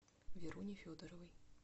веруни федоровой